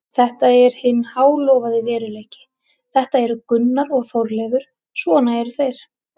Þetta er hinn hálofaði veruleiki, þetta eru Gunnar og Þorleifur, svona eru þeir.